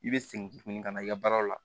I bɛ segin tuguni ka na i ka baaraw la